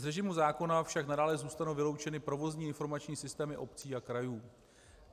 Z režimu zákona však nadále zůstanou vyloučeny provozní informační systémy obcí a krajů.